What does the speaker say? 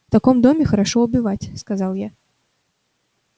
в таком доме хорошо убивать сказал я